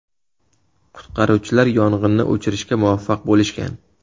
Qutqaruvchilar yong‘inni o‘chirishga muvaffaq bo‘lishgan.